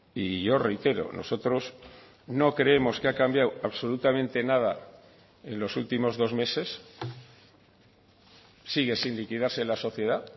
y yo reitero nosotros no creemos que ha cambiado absolutamente nada en los últimos dos meses sigue sin liquidarse la sociedad